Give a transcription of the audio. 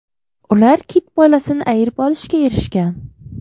Ular kit bolasini ayirib olishga erishgan.